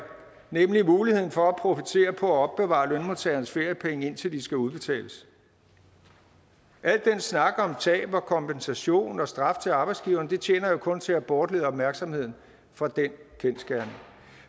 nemlig muligheden for at profitere på at opbevare lønmodtagernes feriepenge indtil de skal udbetales al den snak om tab og kompensation og straf til arbejdsgiveren tjener jo kun til at bortlede opmærksomheden fra den kendsgerning